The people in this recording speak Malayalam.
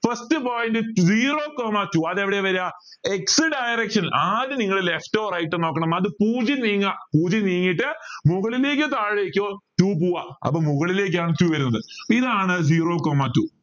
first point zero coma two അതെവിടെയാ വര x direction ആദ്യം നിങ്ങള് left or right നോക്കണം അത് പൂജ്യം നീങ്ങ പൂജ്യം നീങ്ങിയിട്ട് മുകളിലേക്ക് താഴേക്ക് പൂവ അപ്പോ മുകളിലേക്ക് ആണ് two വരുന്നത് അപ്പൊ ഇതാണ് zero coma two